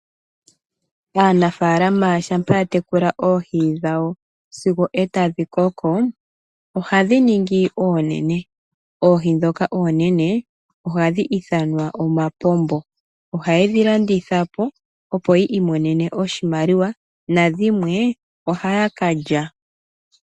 Aanafaalama shampa ya tekula oohi dhawo sigo etadhi koko ohadhi ningi oonene. Oohi ndhoka oonene ohadhi ithanwa omapombo. Ohayedhi landithapo yamone oshimaliwa nadhimwe ohayakalya.